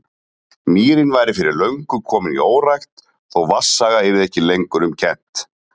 Mýrin væri fyrir löngu komin í órækt, þó vatnsaga yrði ekki lengur um kennt.